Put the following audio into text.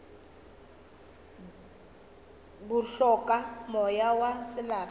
bo hloka moya wa selapa